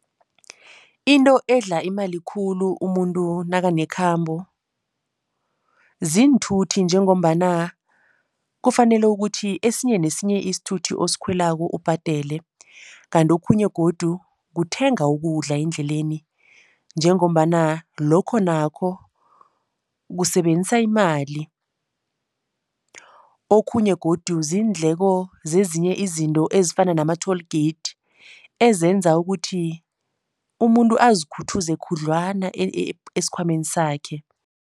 Into edla imali khulu umuntu nakanekhambo ziinthuthi njengombana kufanele ukuthi esinye nesinye isithuthi osikhwelako ubhadele. Kanti okhunye godu kuthenga ukudla endleleni njengombana lokho nakho kusebenzisa imali. Okhunye godu ziindleko zezinye izinto ezifana nama-toll gate ezenza ukuthi umuntu azikhuthuze khudlwana esikhwameni sakhe.